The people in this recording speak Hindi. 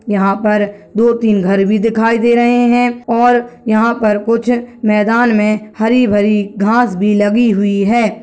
यहाँ पर दो-तीन घर भी दिखाई दे रहे है और यहाँ पर कुछ मैदान में हरी-भरी घास भी लगी हुई है।